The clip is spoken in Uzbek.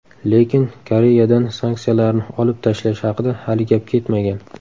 Lekin Koreyadan sanksiyalarni olib tashlash haqida hali gap ketmagan.